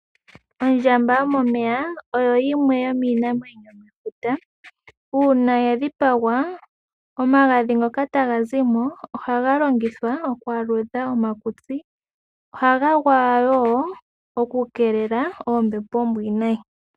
Ombwa yomomeya oyo yimwe yomiinamwenyo yomefuta. Uuna ya dhipagwa, omagadhi ngoka taga zi mo ohaga longithwa oku aludha omakutsi. Ohaga gwaywa woo opo ga keelele oombepo oombwiinayi.